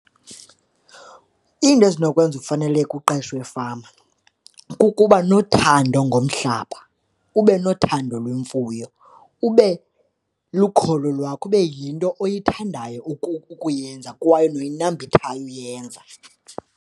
Iinto ezinokwenza ufaneleke uqeshwe efama kukuba nothando ngomhlaba, ube nothando lwemfuyo, ube lukholo lwakho, ibe yinto oyithandayo ukuyenza kwaye noyinambithayo uyenza.